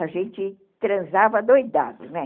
A gente transava adoidado, né?